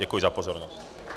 Děkuji za pozornost.